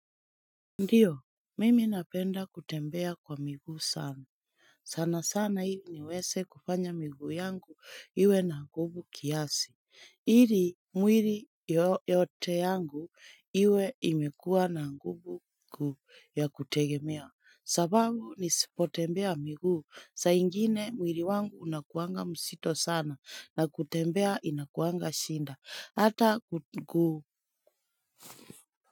Ndiyo, mimi napenda kutembea kwa miguu sana. Sana sana hili niweze kufanya miguu yangu iwe na nguvu kiasi. Ili mwili yote yangu iwe imekuwa na nguvu kuu ya kutegemea. Sababu nisipotembea miguu, saa ingine mwili wangu unakuanga mzito sana na kutembea inakuanga shida, hata ku.